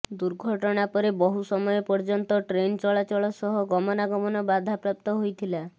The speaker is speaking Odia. ଦୁର୍ଘଟଣା ପରେ ବହୁ ସମୟ ପର୍ଯ୍ୟନ୍ତ ଟ୍ରେନ ଚଳାଚଳ ସହ ଗମନାଗମନ ବାଧାପ୍ରାପ୍ତ ହୋଇଥିଲା